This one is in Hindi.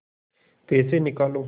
पैसे निकालो